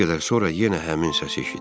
Bir qədər sonra yenə həmin səs eşitdim.